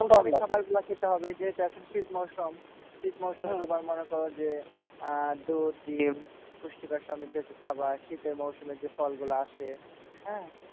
খাবারগুলা খেতে হবে যেহেতু এখন শীত মরশুম, শীত মরশুমে তোমার মনে করো যে আহ দুধ, ডিম, পুষ্টিকর সমৃদ্ধ একটু খাবার, শীতের মরশুমে যে ফলগুলো আসে,